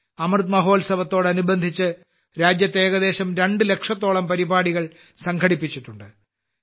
അമൃത് മഹോത്സവത്തോടനുബന്ധിച്ച് രാജ്യത്ത് ഏകദേശം രണ്ട് ലക്ഷത്തോളം പരിപാടികൾ സംഘടിപ്പിച്ചിട്ടുണ്ട്